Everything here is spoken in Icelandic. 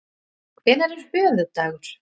Hvenær er höfuðdagur?